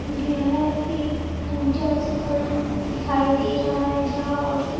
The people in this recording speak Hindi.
गया है एक पूजा स्थल दिखाई दे रहा है जहाँ औरते --